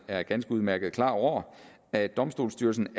er ganske udmærket klar over at domstolsstyrelsen